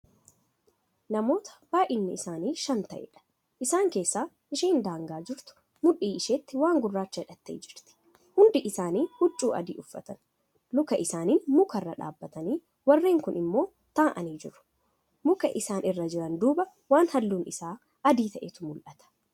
Namoota baay'inni isaanii Shan ta'eedha. Isaan keessaa isheen daangaa jirtu mudhii isheetti waan gurraacha hidhattee jirtu. Hundi isaanii huccuu adii uffatan. Luka isaaniin mukarra dhaabatanii warreen kuun immoo taa'anii jiru muka isaan irra jiran duuba waan halluun Isaa adii ta'etu mul'ata.